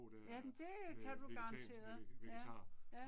Ja men det kan du garanteret, ja, ja